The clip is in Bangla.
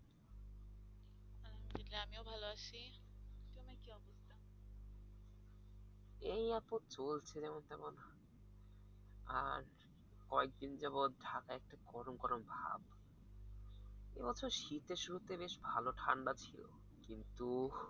এই আপদ চলছে যেমন তেমন, আজ কয়েকদিন যাবৎ ঢাকাই একটু গরম গরম ভাব। এ বছর শীতের শুরুতে বেশ ভালো ঠান্ডা ছিলো। কিন্তু